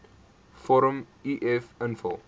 vorm uf invul